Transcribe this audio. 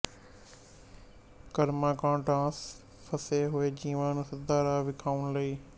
ਕਰਮਕਾਂਡਾਂਚ ਫਸੇ ਹੋਏ ਜੀਵਾਂਨੂੰ ਸਿੱਧਾ ਰਾਹ ਵਿਖਾਉਣ ਲਈ